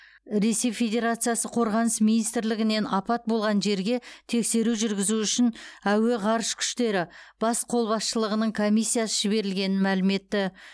ресей федерациясы қорғаныс министрлігінен апат болған жерге тексеру жүргізу үшін әуе ғарыш күштері бас қолбасшылығының комиссиясы жіберілгенін мәлім етті